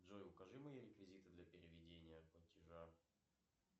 джой укажи мои реквизиты для переведения платежа